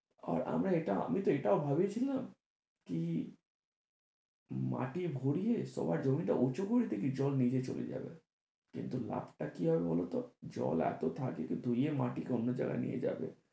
আর আমি আমি তো এটাও ভেবেছিলাম কি মাটি ভরিয়ে তলার জমিটা উঁচু করে দিলেই জল নিচে চলে যাবে, কিন্তু লাভ কি হবে বলতো জল এতো থাকে যে ধুয়ে মাটিকে অন্য জায়গায় নিয়ে যাবে,